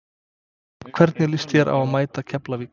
Hvernig lýst þér á að mæta Keflavík?